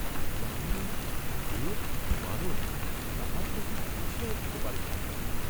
যামিনী দেব কি মানব, তাহা তিনি ঠিক বুঝিয়া উঠিতে পারিলেন না।